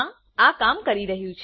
હા આ કામ કરી રહ્યું છે